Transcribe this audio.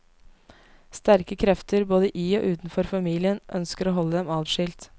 Sterke krefter, både i og utenfor familien, ønsker å holde dem atskilt.